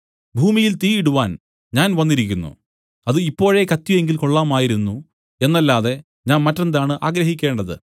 ഭൂമിയിൽ തീ ഇടുവാൻ ഞാൻ വന്നിരിക്കുന്നു അത് ഇപ്പോഴേ കത്തിയെങ്കിൽ കൊള്ളാമായിരുന്നു എന്നല്ലാതെ ഞാൻ മറ്റെന്താണ് ആഗ്രഹിക്കേണ്ടത്